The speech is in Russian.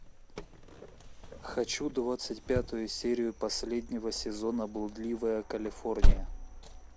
хочу двадцать пятую серию последнего сезона блудливая калифорния